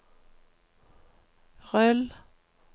rull